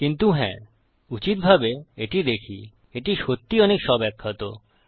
কিন্তু হ্যাঁ উচিতভাবে এটি দেখি এটি সত্যিই অনেক স্বব্যাখ্যাত